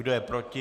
Kdo je proti?